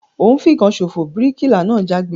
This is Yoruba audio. O n fìkan sofo! bíríkìlà náà jágbe